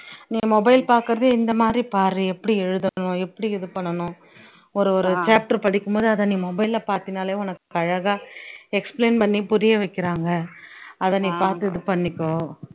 நீ mobile பாக்குறதை நீ இந்த மாதிரி பாரு எப்படி எழுதணும் எப்படி இது பண்ணணும் ஒரு ஒரு chapter படிக்கும் போது அதை நீ mobile ல பாத்தீன்னாலே உனக்கு அழக்கா explain பண்ணி புரிய வைக்கிறாங்க, அதை நீ பாத்து இது பண்ணிக்கோ